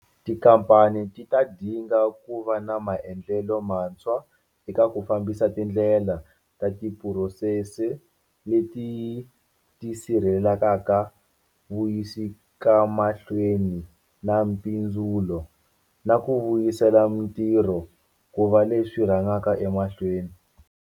Tikhamphani ti ta dinga ku va na maendlelo mantshwa eka ku fambisa tindlela na tiphurosese leti ti sirhelelaka vuyisekamahlweni na mpindzulo, na ku vuyisela mitirho ku va leswi swi rhangaka emahlweni.